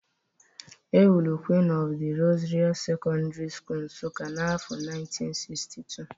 E wuru Queen of the Rosary Secondary School, Nsuka n’afọ 1962.